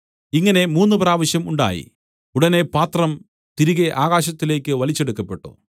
ഇങ്ങനെ മൂന്നുപ്രാവശ്യം ഉണ്ടായി ഉടനെ പാത്രം തിരികെ ആകാശത്തിലേക്ക് വലിച്ചെടുക്കപ്പെട്ടു